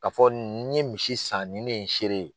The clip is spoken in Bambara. Ka fɔ n ye misi san nin ne ye n sere ye.